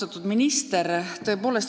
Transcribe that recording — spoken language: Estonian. Austatud minister!